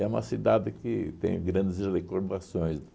É uma cidade que tenho grandes recordações.